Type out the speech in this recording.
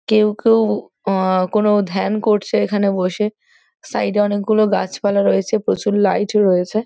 কেউ কেউ আ কোনো ধ্যান করছে এখানে বসে। সাইড -এ অনেকগুলো গাছপালা রয়েছে। প্রচুর লাইট রয়েছে।